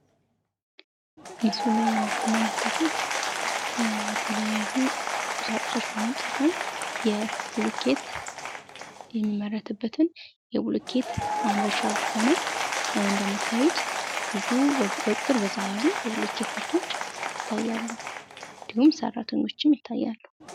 ምስሉ ላይ የምትመለክቱት የተለያዩ ቁሳቁሶች በመጠቀም ብሎኬት የሚመረትበትን የብሎኬት ማምረቻ ቦታ ነው። እንደምታዩት ብዙ በቁጥር በዛ ያሉ የብሎኬት ምርቶች ይታያሉ ። እንዲሁም ሰራተኞችም ይታያሉ።